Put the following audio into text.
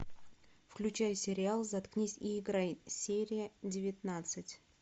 включай сериал заткнись и играй серия девятнадцать